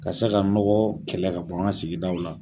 Ka se ka nɔgɔ kɛlɛ ka bɔ an ka sigidaw la.